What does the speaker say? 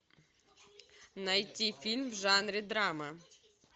найти фильм в жанре драма